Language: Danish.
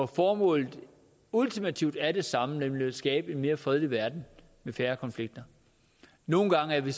formål ultimativt er det samme nemlig at skabe en mere fredelig verden med færre konflikter nogle gange er vi